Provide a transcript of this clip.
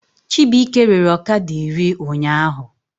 Chibuike rere ọkada iri ụnyaahụ